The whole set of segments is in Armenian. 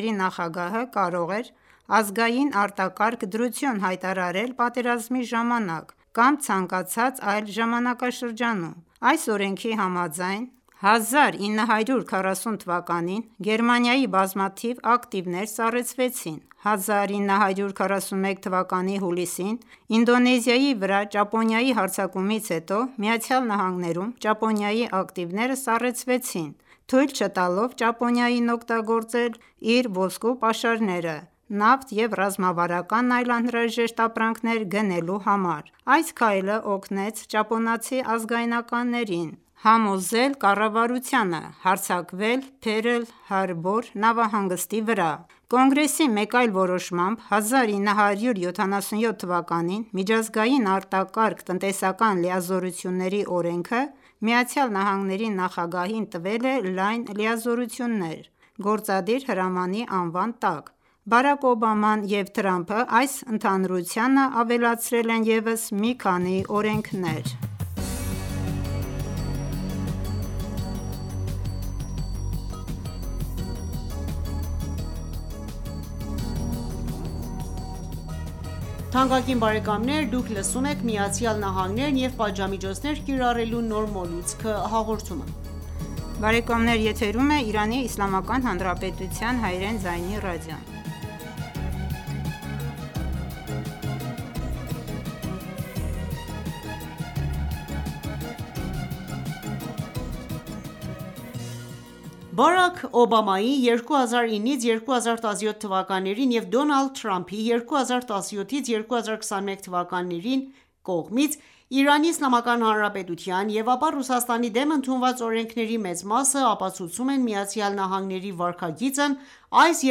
–ի նախագահը կարող էր ազգային արտակարգ դրություն հայտարարել պատերազմի ժամանակ կամ ցանկացած այլ ժամանակաշրջանում։ Այս օրենքի համաձայն՝ 1940 թվականին Գերմանիայի բազմաթիվ ակտիվներ սառեցվեցին: 1941 թվականի հուլիսին, Ինդոնեզիայի վրա ճապոնիայի հարձակումից հետո, Ամերիկայում Ճապոնիայի ակտիվները սառեցվեցին՝ թույլ չտալով Ճապոնիային օգտագործել իր ոսկու պաշարները նավթ և ռազմավարական այլ անհրաժեշտ ապրանքներ գնելու համար: Այս քայլը օգնեց ճապոնացի ազգայնականներին համոզել կառավարությանը հարձակվել Փերլ Հարբոր նավահանգստի վրա: Կոնգրեսի մեկ այլ որոշմամբ, 1977թվականին «Միջազգային արտակարգ տնտեսական լիազորությունների օրենքը » Միացյալ Նահանգների նախագահին տվել է լայն լիազորություններ՝ գործադիր հրամանի անվան տակ։ Բարաք Օբաման և Դոնալդ Թրամփը այս ընդհանրությանը ավելացրել են ևս մի քանի օրենքներ։ Բարաք Օբամայի (2009-2017թթ.) և Դոնալդ Թրամփի (2017-2021թթ.) կողմից Իրանի Իսլամական Հանրապետության և ապա Ռուսաստանի դեմ ընդունված օրենքների մեծ մասը ապացուցում են ԱՄՆ-ի վարքագիծն այս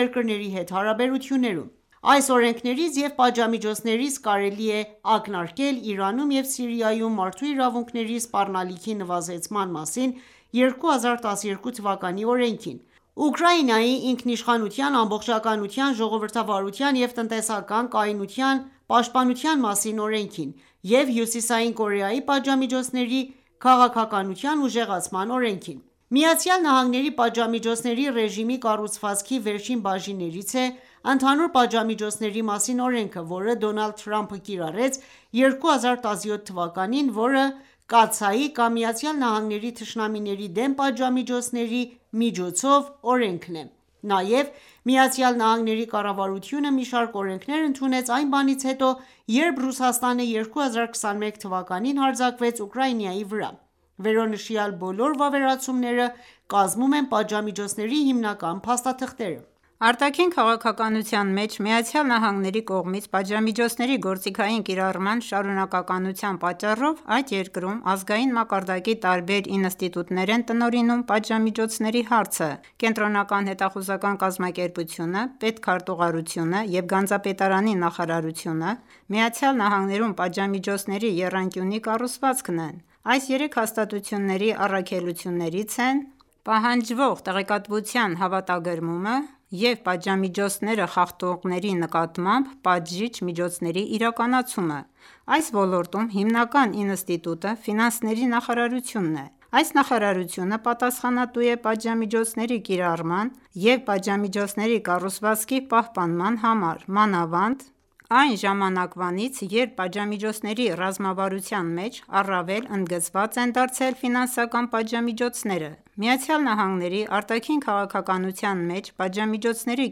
երկրների հետ հարաբերություններում: Այս օրենքներից և պատժամիջոցներից կարելի է ակնարկել «Իրանում և Սիրիայում մարդու իրավունքների սպառնալիքի նվազեցման մասին 2012 թվականի օրենքին», «Ուկրաինայի ինքնիշխանության, ամբողջականության, ժողովրդավարության և տնտեսական կայունության պաշտպանության մասին օրենքին», և «Հյուսիսային Կորեայի պատժամիջոցների քաղաքականության ուժեղացման օրենքին»: ԱՄՆ –ի պատժամիջոցների ռեժիմի կառուցվածքի վերջին բաժիններից է «Ընդհանուր պատժամիջոցների մասին օրենքը», որը Դոնալդ Թրամփը կիրառեց 2017 թվականին ՝որը Կացայի կամ «ԱՄՆ-ի թշնամիների դեմ, պատժամիջոցների միջոցով» օրենքն է ։ Նաև ԱՄՆ կառավարությունը մի շարք օրենքներ ընդունեց այն բանից հետո, երբ Ռուսաստանը 2021 թվականին հարձակվեց Ուկրաինայի վրա: Վերոնշյալ բոլոր վավերացումները կազմում են պատժամիջոցների հիմնական փաստաթղթերը։ Արտաքին քաղաքականության մեջ ԱՄՆ-ի կողմից պատժամիջոցների գործիքային կիրառման շարունակականության պատճառով, այդ երկրում ,ազգային մակարդակի տարբեր ինստիտուտներ են տնօրինում պատժամիջոցների հարցը։ Կենտրոնական հետախուզական կազմակերպությունը (ԿՀՎ), Պետ քարտուղարությունը և Գանձապետարանի նախարարությունը, ԱՄՆ- ում պատժամիջոցների եռանկյունի կառուցվածքն են։ Այս երեք հաստատությունների առաքելություններից են ՝ պահանջվող տեղեկատվության հավաքագրումը,և պատժամիջոցները խախտողների նկատմամբ պատժիչ միջոցների իրականացումը։ Այս ոլորտում հիմնական ինստիտուտը ֆինանսների նախարարությունն է։ Այս նախարարությունը պատասխանատու է պատժամիջոցների կիրառման և պատժամիջոցների կառուցվածքի պահպանման համար, մանավանդ, այն ժամանակվանից երբ պատժամիջոցների ռազմավարության մեջ առավել ընդգծված են դարձել ֆինանսական պատժամիջոցները։ ԱՄՆ արտաքին քաղաքականության մեջ պատժամիջոցների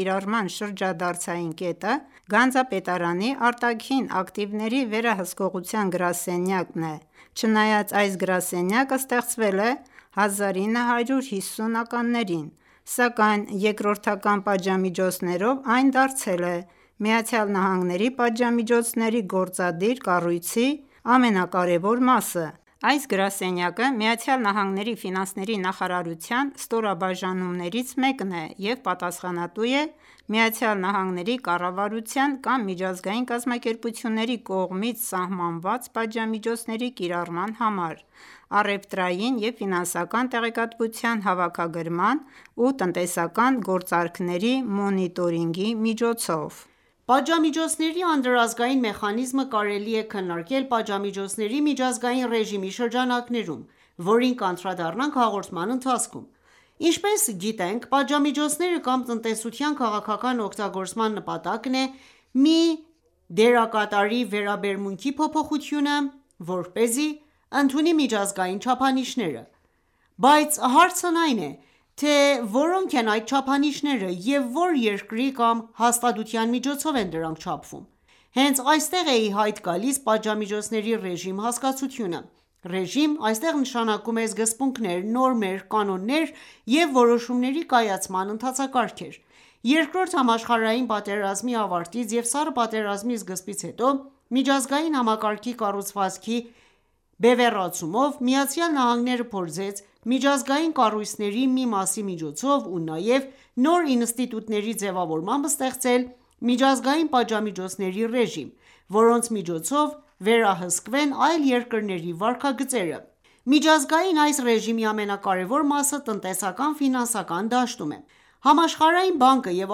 կիրառման շրջադարձային կետը գանձապետարանի արտաքին ակտիվների վերահսկողության գրասենյակ՝ (OFAC)-ն է: Չնայած այս գրասենյակը ստեղծվել է 1950-ականներին, սակայն երկրորդական պատժամիջոցներով, այն դարձել է ԱՄՆ պատժամիջոցների գործադիր կառույցի ամենակարևոր մասը: Այս գրասենյակը ԱՄՆ ֆինանսների նախարարության ստորաբաժանումներից մեկն է և պատասխանատու է ԱՄՆ-ի կառավարության կամ միջազգային կազմակերպությունների կողմից սահմանված պատժամիջոցների կիրառման համար՝ առևտրային և ֆինանսական տեղեկատվության հավաքագրման և տնտեսական գործարքների մոնիտորինգի միջոցով: Պատժամիջոցների անդրազգային մեխանիզմը կարելի է քննարկել պատժամիջոցների միջազգային ռեժիմի շրջանակներում, որին կանդրադառնանք հաղորդման ընթացքում: Ինչպես գիտենք, պատժամիջոցները կամ տնտեսության քաղաքական օգտագործման նպատակն է մի դերակատարի վերաբերմունքի փոփոխությունը ,որպեսզի ընդունի միջազգային չափանիշները ։ Բայց հարցն այն է, թե որո՞նք են այդ չափանիշները և ո՞ր երկրի կամ հաստատության միջոցով են դրանք չափվում։ Հենց այստեղ է ի հայտ գալիս «պատժամիջոցների ռեժիմ» հասկացությունը: Ռեժիմ ,այստեղ նշանակում է սկզբունքներ, նորմեր, կանոններ և որոշումների կայացման ընթացակարգեր։ Երկրորդ համաշխարհային պատերազմի ավարտից և սառը պատերազմի սկզբից հետո, միջազգային համակարգի կառուցվածքի բևեռացումով, ԱՄՆ-ն փորձեց միջազգային կառույցների մի մասի միջոցով ու նաև նոր ինստիտուտների ձևավորմամբ ստեղծել միջազգային պատժամիջոցների ռեժիմ,,որոնց միջոցով վերահսկվեն այլ երկրների վարքագծերը: Միջազգային այս ռեժիմի ամենակարևոր մասը տնտեսական-ֆինանսական դաշտում է։ Համաշխարհային բանկը և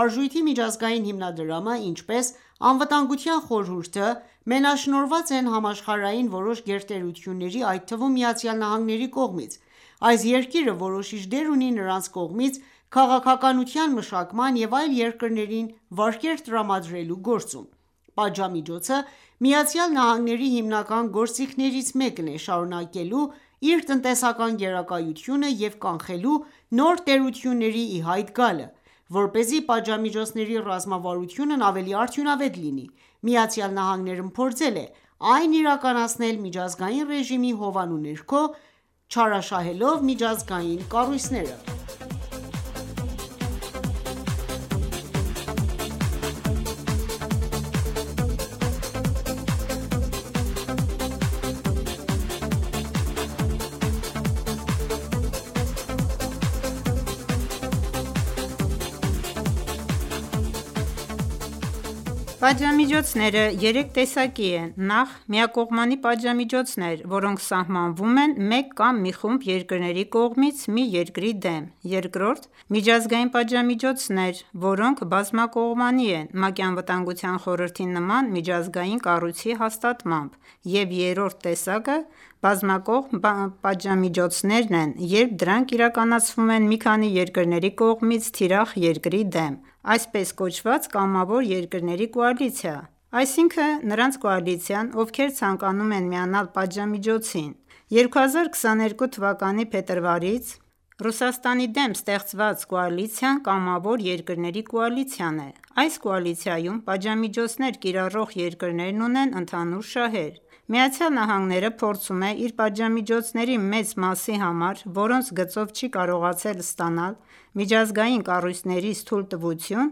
Արժույթի միջազգային հիմնադրամը, ինչպես Անվտանգության խորհուրդը, մենաշնորհված են համաշխարհային որոշ գերտերությունների, այդ թվում՝ ԱՄՆ-ի կողմից։ Այս երկիրը որոշիչ դեր ունի նրանց կողմից քաղաքականության մշակման և այլ երկրներին վարկեր տրամադրելու գործում։ Պատժամիջոցը ԱՄՆ-ի հիմնական գործիքներից մեկն է՝ շարունակելու իր տնտեսական գերակայությունը և կանխելու նոր տերությունների ի հայտ գալը: Որպեսզի պատժամիջոցների ռազմավարությունն ավելի արդյունավետ լինի, ԱՄՆ-ն փորձել է այն իրականացնել միջազգային ռեժիմի հովանու ներքո՝ չարաշահելով միջազգային կառույցները։ Պատժամիջոցները երեք տեսակի են՝ նախ, միակողմանի պատժամիջոցներ, որոնք սահմանվում են մեկ կամ մի խումբ երկրների կողմից մի երկրի դեմ, երկրորդ՝Միջազգային պատժամիջոցները, որոնք բազմակողմանի են՝ ՄԱԿ-ի Անվտանգության խորհրդի նման միջազգային կառույցի հաստատմամբ, և երրորդ տեսակը՝Բազմակողմ պատժամիջոցներն են, երբ դրանք իրականացվում են մի քանի երկրների կողմից թիրախ երկրի դեմ, այսպես կոչված, կամավոր երկրների կոալիցիա:Այսինքն նրանց կոալիցիան ,ովքեր ցանկանում են միանալ պատժամիջոցին: 2022 թվականի փետրվարից Ռուսաստանի դեմ ստեղծված կոալիցիան կամավոր երկրների կոալիցիան է: Այս կոալիցիայում պատժամիջոցներ կիրառող երկրներն ունեն ընդհանուր շահեր։ ԱՄՆ-ն փորձում է իր պատժամիջոցների մեծ մասի համար, որոնց գծով չի կարողացել ստանալ միջազգային կառույցներից թույլտվություն,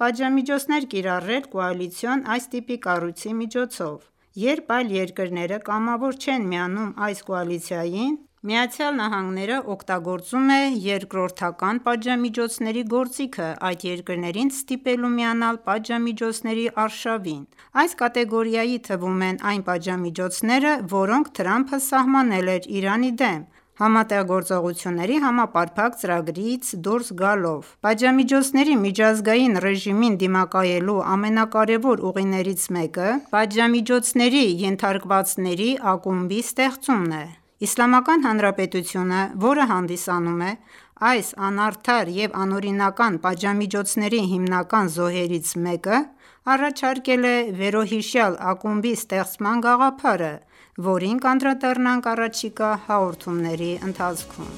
պատժամիջոցներ կիրառել կոալիցիոն այս տիպի կառույցի միջոցով: Երբ այլ երկրները կամավոր չեն միանում այս կոալիցիային, ԱՄՆ-ն օգտագործում է երկրորդական պատժամիջոցների գործիքը՝ այդ երկրներին ստիպելու միանալ պատժամիջոցների արշավին։ Այս կատեգորիայի թվում են այն պատժամիջոցները, որոնք Դոնալդ Թրամփը սահմանել էր Իրանի դեմ ՀԳՀԾ-ից դուրս գալով ։ Պատժամիջոցների միջազգային ռեժիմին դիմակայելու ամենակարևոր ուղիներից մեկը պատժամիջոցների ենթարկվածների ակումբի ստեղծումն է։ Իսլամական Հանրապետությունը, որը հանդիսանում է այս անարդար և անօրինական պատժամիջոցների հիմնական զոհերից մեկը, առաջարկել է վերոհիշյալ ակումբի ստեղծման գաղափարը, որին կանդրադառնանք առաջիկա հաղորդումների ընթացքում: